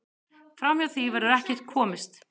Framhjá því verður ekkert komist.